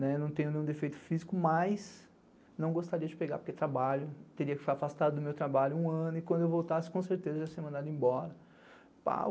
não tenho nenhum defeito físico, mas não gostaria de pegar porque trabalho, teria que ficar afastado do meu trabalho um ano e quando eu voltasse com certeza ia ser mandado embora.